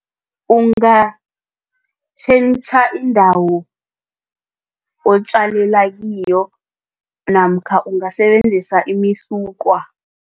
Ungatjhentjha indawo otjalale kiyo namkha ungasebenzisa imisuqwa.